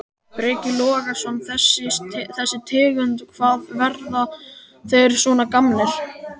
Breki Logason: Þessi tegund, hvað, verða þeir svona gamlir?